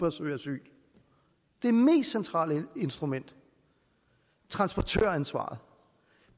at søge asyl det mest centrale instrument transportøransvaret